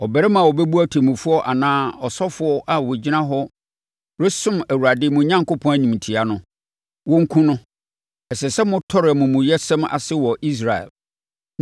Ɔbarima a ɔbɛbu ɔtemmufoɔ anaa ɔsɔfoɔ a ɔgyina hɔ resom Awurade mo Onyankopɔn animtia no, wɔnkum no. Ɛsɛ sɛ motɔre amumuyɛsɛm ase wɔ Israel.